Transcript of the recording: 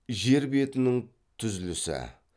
жер бетінің түзлісі